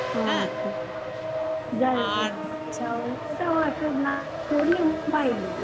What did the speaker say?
হ্যাঁ হ্যাঁ যাই হোক আর ওটাও একটা না করলে উপায় নেই